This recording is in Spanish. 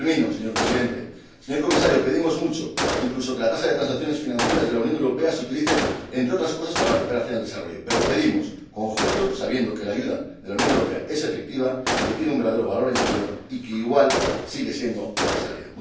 Señor Presidente, señor Comisario, pedimos mucho, incluso que la tasa sobre las transacciones financieras de la Unión Europea se utilice, entre otras cosas, para la cooperación al desarrollo, pero pedimos con juicio, sabiendo que la ayuda de la Unión Europea es efectiva, que tiene un verdadero valor añadido y que igual sigue siendo necesaria.